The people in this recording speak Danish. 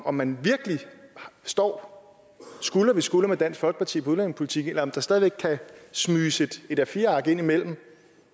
om man virkelig står skulder ved skulder med dansk folkeparti på udlændingepolitikken eller om der stadig væk kan smyges et a4 ark ind imellem